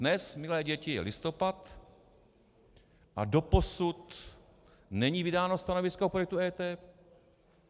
Dnes, milé děti, je listopad, a doposud není vydáno stanovisko k projektu EET.